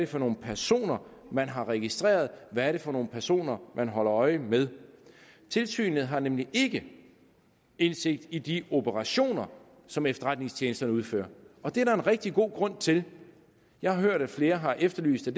for nogle personer man har registreret og hvad er det for nogle personer man holder øje med tilsynet har nemlig ikke indsigt i de operationer som efterretningstjenesterne udfører og det er der en rigtig god grund til jeg har hørt at flere har efterlyst at